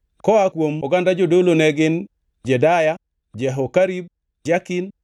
Koa kuom oganda jodolo ne gin: Jedaya, Jehokarib, Jakin,